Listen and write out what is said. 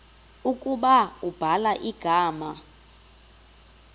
ukuba ubhala igama